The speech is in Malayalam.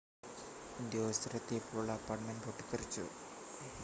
ഉദ്യോഗസ്ഥർ എത്തിയപ്പോൾ അപ്പാർട്ട്മെൻ്റ് പൊട്ടിത്തെറിച്ചു